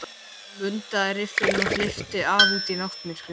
Hann mundaði riffilinn og hleypti af út í náttmyrkrið.